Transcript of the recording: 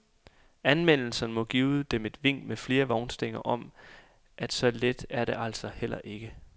Anmeldelserne må give dem vink med flere vognstænger om, at så let er det altså heller ikke.